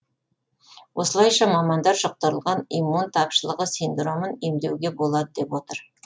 осылайша мамандар жұқтырылған иммун тапшылығы синдромын емдеуге болады деп отыр